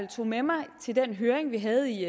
tog med mig til den høring vi havde i